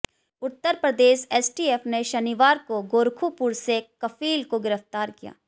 उत्तर Pradesh STF ने शनिवार को गोरखुपुर से कफील को गिरफ्तार किया